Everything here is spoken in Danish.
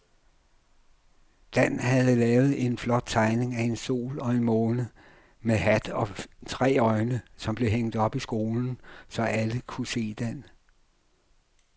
Dan havde lavet en flot tegning af en sol og en måne med hat og tre øjne, som blev hængt op i skolen, så alle kunne se den.